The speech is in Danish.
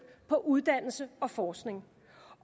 på uddannelse og forskning